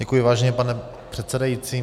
Děkuji, vážený pane předsedající.